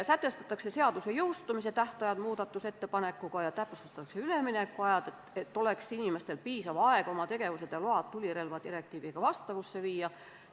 Ühe muudatusettepanekuga soovitakse muuta seaduse jõustumise aega ja täpsustatakse üleminekutähtaegu, et inimestel oleks piisav aeg oma tegevus ja load tulirelvadirektiiviga vastavusse viia.